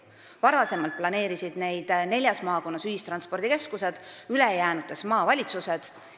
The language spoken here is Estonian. Varem planeerisid neid neljas maakonnas ühistranspordikeskused, ülejäänutes maavalitsused.